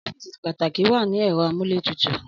Ọ́fíìsì pàtàkì wà ní ẹ̀rọ amúlétutù.